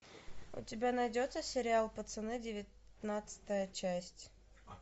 у тебя найдется сериал пацаны девятнадцатая часть